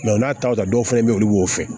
u n'a ta dɔw fana be ye olu b'o fɛ